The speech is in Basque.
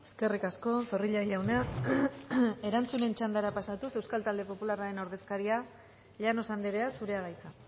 eskerrik asko zorrilla jauna erantzun txanda pasatuz euskal talde popularraren ordezkaria llanos andrea zurea da hitza